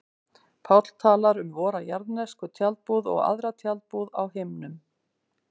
Páll talar um vora jarðnesku tjaldbúð og aðra tjaldbúð á himnum.